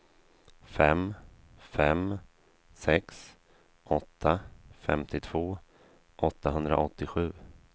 fem fem sex åtta femtiotvå åttahundraåttiosju